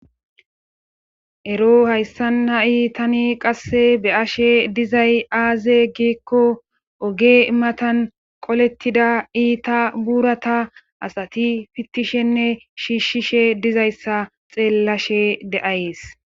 Ero hayssan ha7i tani qasse beyashe dizay aaze giikko oge matan qolettida iita burata asati fittishenne shiishshishe dizayssa xeellashe de7ayes.